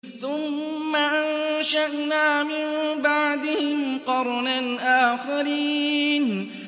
ثُمَّ أَنشَأْنَا مِن بَعْدِهِمْ قَرْنًا آخَرِينَ